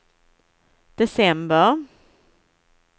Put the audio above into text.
december